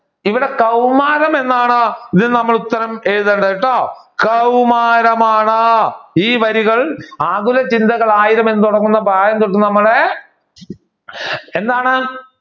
ഇവിടെ കൗമാരം എന്നാണ് ഇതിന് നമ്മൾ ഉത്തരം എഴുതേണ്ടത് കേട്ടോ. കൗമാരമാണ്. ഈ വരികൾ ആകുല ചിന്തകൾ ആയിരം എന്ന് തുടങ്ങുന്ന ഭാഗം തൊട്ട് നമ്മൾ എന്താണ്